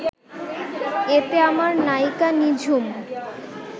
এতে আমার নায়িকা নিঝুম